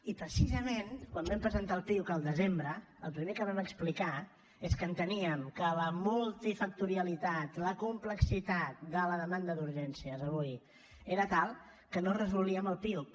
i precisament quan vam presentar el piuc al desembre el primer que vam explicar és que enteníem que la multifactorialitat la complexitat de la demanda d’urgències avui era tal que no es resolia amb el piuc